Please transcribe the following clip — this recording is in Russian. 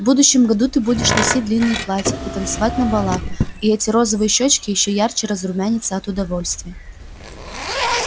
в будущем году ты будешь носить длинные платья и танцевать на балах и эти розовые щёчки ещё ярче разрумянятся от удовольствия